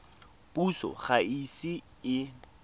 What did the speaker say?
puso ga e ise e